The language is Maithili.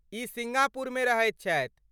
ई सिंगापुरमे रहैत छथि।